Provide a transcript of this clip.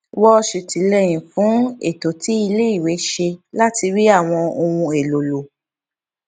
wọn ṣètìlẹyìn fún ètò tí iléèwé ṣe láti rí àwọn ohun èlò lò